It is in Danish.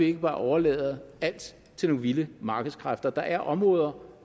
ikke bare overlade alt til nogle vilde markedskræfter der er områder